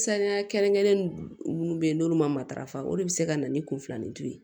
Sanuya kɛrɛnkɛrɛnnen minnu bɛ yen n'olu matarafa o de bɛ se ka na ni kun filanin ye